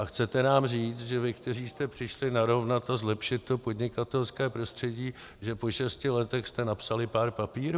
A chcete nám říct, že vy, kteří jste přišli narovnat a zlepšit to podnikatelské prostředí, že po šesti letech jste napsali pár papírů?